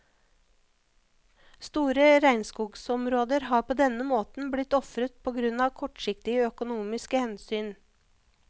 Store regnskogsområder har på denne måten blitt ofret på grunn av kortsiktige økonomiske hensyn.